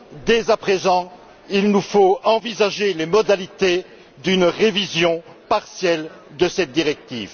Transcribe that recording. Dès à présent, il nous faut envisager les modalités d'une révision partielle de cette directive.